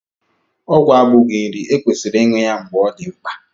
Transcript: Ọgwụ abụghị nri, e kwesịrị ịṅụ ya mgbe ọ dị na mkpa